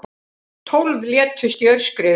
Tólf létust í aurskriðu